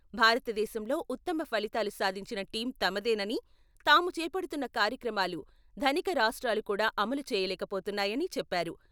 భారతదేశంలో ఉత్తమ ఫలితాలు సాధించిన టీమ్ తమదేనని, తాము చేపడుతున్న కార్యక్రమాలు ధనిక రాష్ట్రాలు కూడా అమలు చేయలేకపోతున్నాయని చెప్పారు.